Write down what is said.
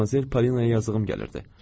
Madmazel Polinaya yazığım gəlirdi.